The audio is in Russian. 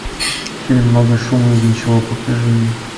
фильм много шума из ничего покажи мне